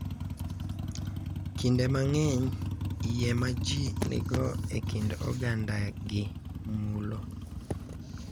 Kinde mang’eny, yie ma ji nigo e kit ogandagi mulo,